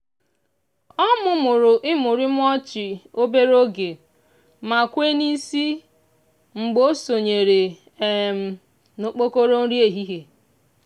o mumuru imurimu ọchị obere oge ma kwee n'isi mgbe o sonyere um n'okpokoro nri ehihie.